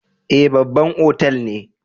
Eh, babban otal ne.